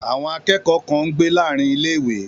Àwọn akẹ́kọ̀ọ́ kan ń gbé láàárín ilé-ìwé